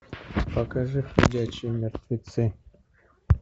покажи ходячие мертвецы